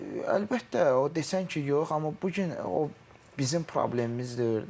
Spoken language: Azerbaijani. Əlbəttə, o desən ki, yox, amma bu gün o bizim problemimiz deyil də.